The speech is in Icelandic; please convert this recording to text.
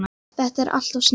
Þetta er alltof snemmt.